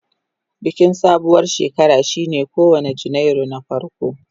Bikin sabuwar shekara shine kowane Janairu na farko.